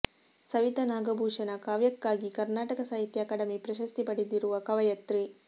ಸವಿತಾ ನಾಗಭೂಷಣ ಕಾವ್ಯಕ್ಕಾಗಿ ಕರ್ನಾಟಕ ಸಾಹಿತ್ಯ ಅಕಾಡೆಮಿ ಪ್ರಶಸ್ತಿ ಪಡೆದಿರುವ ಕವಯತ್ರಿ